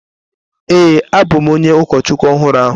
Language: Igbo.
Ee, abụ m onye ụkọchukwu ọhụrụ ahụ.